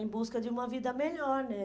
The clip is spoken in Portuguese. Em busca de uma vida melhor, né?